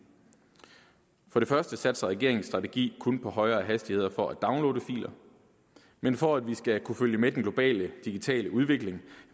for det første satser regeringen strategi kun på højere hastigheder for at downloade filer men for at vi skal kunne følge med den globale digitale udvikling